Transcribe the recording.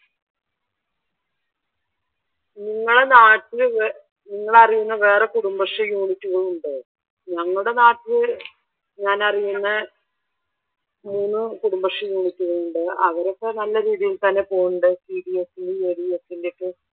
നിങ്ങടെ നാട്ടിൽ നിങ്ങൾ അറിയുന്ന വേറെ കുടുംബശ്രീ യൂണിറ്റുകൾ ഉണ്ടോ? ഞങ്ങടെ നാട്ടിൽ ഞാൻ അറിയുന്ന മൂന്ന് കുടുംബശ്രീ യൂണിറ്റുകൾ ഉണ്ട് അവരൊക്കെ നല്ല രീതിയിൽ തന്നെ പോകുന്നുണ്ട് ഒക്കെ